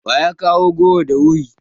Wa ya kawo goro da wuri?